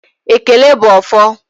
Ekele bụ ọfọ